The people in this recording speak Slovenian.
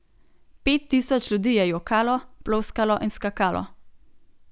Pet tisoč ljudi je jokalo, ploskalo in skakalo.